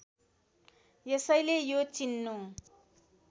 यसैले यो चिन्नु